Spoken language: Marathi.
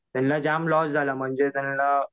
त्यांला जाम लॉस झाला म्हणजे त्यांना